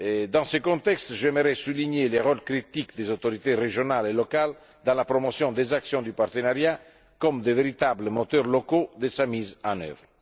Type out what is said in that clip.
Dans ce contexte, j'aimerais souligner le rôle crucial des autorités régionales et locales dans la promotion des actions du partenariat elles sont de véritables moteurs locaux de sa mise en œuvre.